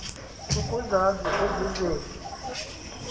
ukuzazi ezi zinto